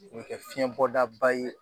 O bɛ kɛ fiyɛnbɔdaba ye